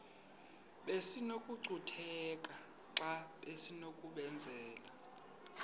besinokucutheka xa besinokubenzela